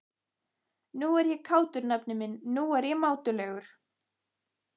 Nú er ég kátur, nafni minn, nú er ég mátulegur.